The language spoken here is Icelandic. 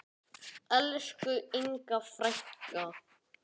Elsku Inga frænka.